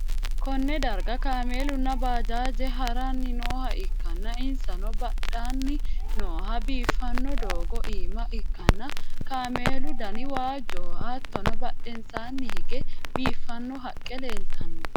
konne darga kaameelunna bajaaji ha'ranni nooha ikkanna, insanno hadhanni noohu biiffanno doogo iima ikkanna, kaameelu dani waajjoho, hattono badhensaanni hige biiffanno haqqe leeltanno.